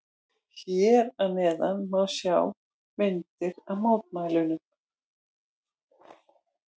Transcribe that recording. Hér að neðan má sjá myndir af mótmælunum.